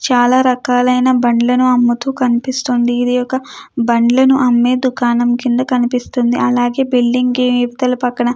చాలా రకాలైన బండ్లను అమ్ముతూ కనిపిస్తోంది. ఇది ఒక బండ్లను అమ్మే దుకాణం కింద కనిపిస్తుంది అలాగే బిల్డింగ్ ఇవతల పక్కన --